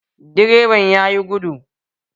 Direban ya yi gudu